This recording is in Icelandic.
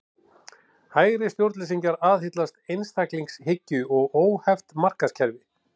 Hægri stjórnleysingjar aðhyllast einstaklingshyggju og óheft markaðskerfi.